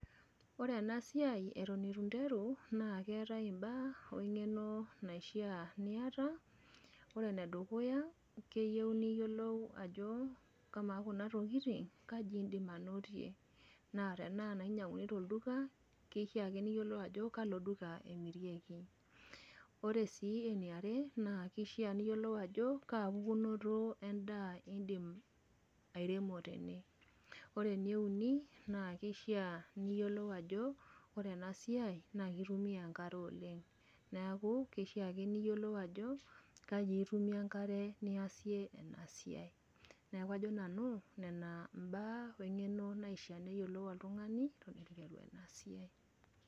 Ore enasiai atan itunteru nakeetae mbaa engeno naishaa niata ore enedukuya keyieu niyiolou ajo ama kuna tokitin kaji indim ainotie na tenaa kinyanguni tolduka nishaakino niyiolo ajo kalo duka emeirieki ,ore si eniare na kishaa piyolo ajo kaa daa ishaa indimbairemo tene, ore eneuni na kishaa niyiolou ajo ore enasiai na kitumia enkare oleng neaku kishaa ake niyiolou ajo kai itumie enkare niasie inasiai, neaku kajo nanu nona mbaq wengeno naishaa peyiolou oltungani tenasiai.